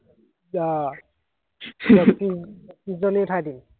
আহ